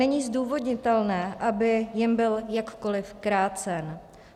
Není zdůvodnitelné, aby jim byl jakkoliv krácen.